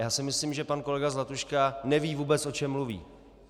Já si myslím, že pan kolega Zlatuška neví vůbec, o čem mluví.